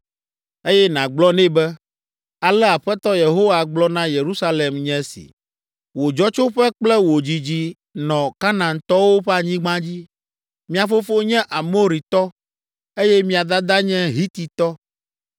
Eye nàgblɔ nɛ be, ale Aƒetɔ Yehowa gblɔ na Yerusalem nye si; ‘Wò dzɔtsoƒe kple wò dzidzi nɔ Kanaantɔwo ƒe anyigba dzi. Mia fofo nye Amoritɔ, eye mia dada nye Hititɔ.